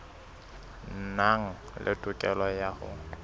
nang le tokelo ya ho